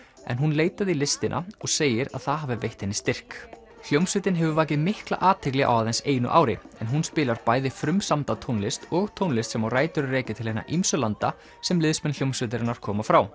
en hún leitaði í listina og segir að það hafi veitt henni styrk hljómsveitin hefur vakið mikla athygli á aðeins einu ári en hún spilar bæði frumsamda tónlist og tónlist sem á rætur að rekja til hinna ýmsu landa sem liðsmenn hljómsveitarinnar koma frá